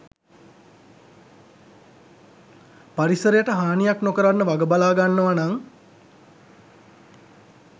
පරිසරයට හානියක් නොකරන්න වග බලාගන්නවනං